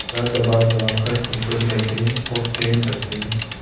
गला दबादबा कर रिश्वतें लेते हैं और चैन करते हैं